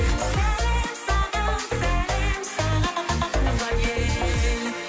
сәлем саған сәлем саған туған ел